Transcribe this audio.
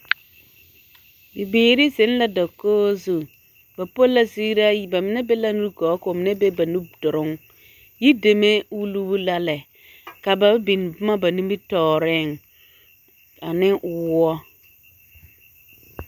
Bibiiri zeŋ la dakogi zu, ba po la ziiraa yi, bamine be la nugɔɔ k'o mine be ba nuduruŋ, yideme wulibu la lɛ ka ba biŋ boma ba nimitɔɔreŋ ane woɔ.